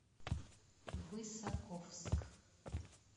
высоковск